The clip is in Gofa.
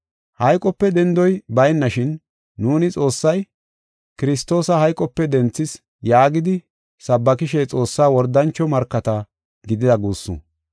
Hayqope dendoy baynashin, nuuni Xoossay, “Kiristoosa hayqope denthis” yaagidi sabbakishe Xoossaa wordancho markata gidida guussu.